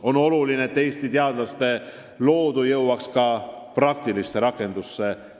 On oluline, et Eesti teadlaste loodu jõuaks ka praktilisse rakendusse.